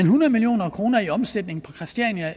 hundrede million kroner i omsætning